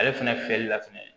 Ale fɛnɛ fiyɛli la fɛnɛ